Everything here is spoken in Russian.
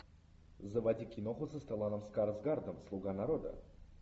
заводи киноху со стелланом скарсгардом слуга народа